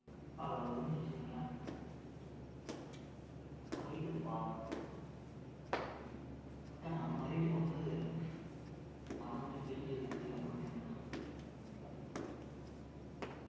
முட்டிக்கால் அளவு வச்சிக்கோங்களேன் அதுவே முப்பது centimeter தான் ஏய் நம்ம height க்குப்பா கிட்டதட்ட நம்ம height க்கு வந்து மழை வந்து பெய்து இருக்கு அப்படின்னு சொல்றாங்க millimeter னா இன்னும் கம்மி தானே